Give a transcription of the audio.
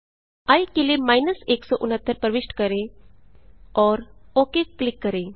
आई के लिए 169 प्रविष्ट करें और ओक क्लिक करें